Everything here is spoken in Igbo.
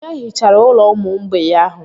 Onye hichara ụlọ ụmụ mgbei ahụ?